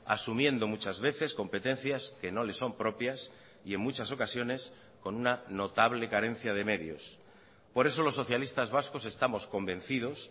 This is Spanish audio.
asumiendo muchas veces competencias que no les son propias y en muchas ocasiones con una notable carencia de medios por eso los socialistas vascos estamos convencidos